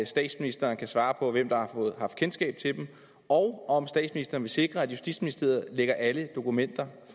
statsministeren kan svare på hvem der har haft kendskab til den og om statsministeren vil sikre at justitsministeriet lægger alle dokumenter